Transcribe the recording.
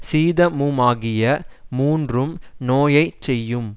சீதமுமாகிய மூன்றும் நோயைச் செய்யும்